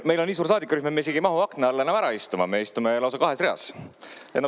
Meil on nii suur saadikurühm, et me isegi ei mahu akna alla ära istuma, me istume lausa kahes reas.